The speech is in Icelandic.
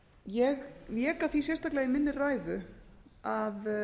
ég vék að því sérstaklega í minni ræðu að